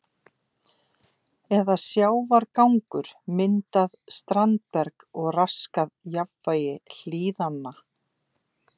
eða sjávargangur myndað standberg og raskað jafnvægi hlíðanna.